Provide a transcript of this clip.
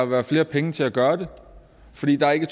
være flere penge til at gøre det fordi der ikke